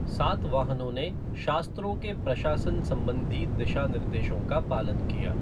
सातवाहनों ने शास्त्रों के प्रशासन संबंधी दिशानिर्देशों का पालन किया।